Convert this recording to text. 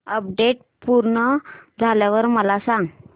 update पूर्ण झाल्यावर मला सांग